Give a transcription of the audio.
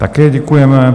Také děkujeme.